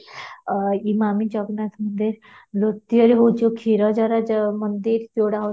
ଆଃ ଇମାମି ଜଗନ୍ନାଥ ମନ୍ଦିର ଦ୍ଵିତୀୟ ହେଉଛି କ୍ଷୀରଚୋରା ମନ୍ଦିର ଯୋଉଟା ହୋଉଛି